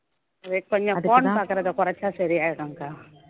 wait பண்ணி phone பாக்குறதை குறைச்சா சரியாயிடும்க்கா